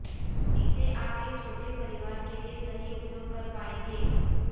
इसे आप एक छोटे परिवार के लिए सही उपयोग कर पाएंगे